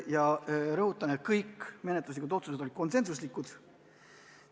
Ma rõhutan, et kõik menetluslikud otsused olid konsensuslikud.